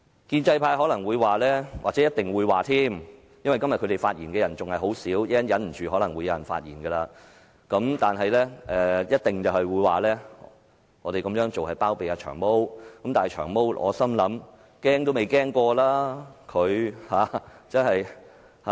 建制派可能或一定會說——因為他們今天發言的人仍少，但稍後有可能忍不住而有人發言——我們這樣做是包庇"長毛"，但我心想，"長毛"根本都未怕過。